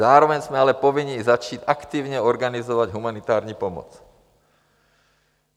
Zároveň jsme ale povinni začít i aktivně organizovat humanitární pomoc.